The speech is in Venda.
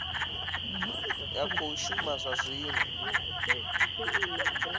ya khou shuma zwa zwino